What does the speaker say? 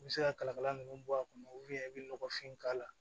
I bɛ se ka kalakala ninnu bɔ a kɔnɔ i bɛ nɔgɔfin k'a la